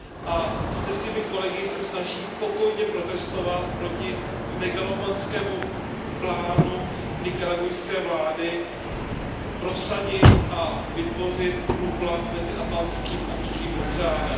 a se svými kolegy se snaží pokojně protestovat proti megalomanskému plánu nikaragujské vlády prosadit a vytvořit průplav mezi Atlantským a Tichým oceánem.